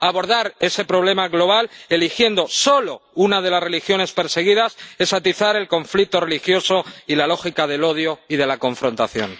Abordar ese problema global eligiendo solo una de las religiones perseguidas es atizar el conflicto religioso y la lógica del odio y de la confrontación.